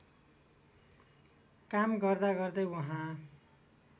काम गर्दागर्दै वहाँ